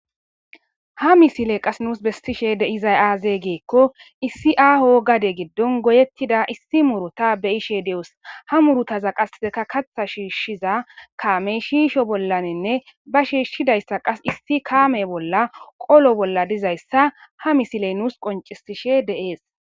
Ha misiley qase nus besishe de'izay aaze giikon issi aho gade gidon goyetida iss muuruta beyishe doos he bootazan qase kaatha shiishiza kammey shiisho bollaninne ba shishidaysa qase issi kaame bolla qolo bolla dizaysa ha misiley nus qoncisishe de'ees.